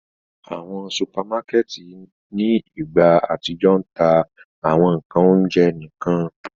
Awọn supamakẹti ni igba atijọ ń ta awọn ńkan ounjẹ nikan.